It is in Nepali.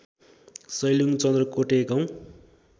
सैलुङ चन्द्रकोटे गाउँ